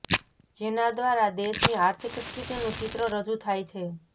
જેના દ્રારા દેશની આર્થિક સ્થિતિનું ચિત્ર રજુ થાય છે